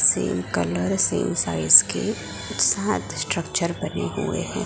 Same colour same size के सात structure बने हुए हैं।